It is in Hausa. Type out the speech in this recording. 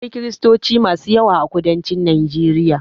Akwai kiristoci masu yawa a kudancin Najeriya.